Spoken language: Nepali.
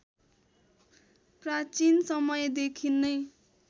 प्राचीन समयदेखि नै